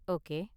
Okay!